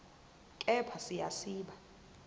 kepha siya siba